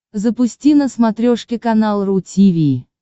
запусти на смотрешке канал ру ти ви